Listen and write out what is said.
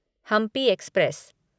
Hampi express